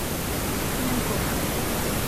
клименков